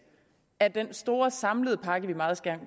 af den store samlede pakke vi meget